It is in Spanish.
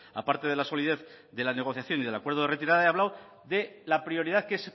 a parte de la solidez de la negociación y del acuerdo de retirada he hablado de la prioridad que es